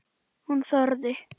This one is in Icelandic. Hún þorði.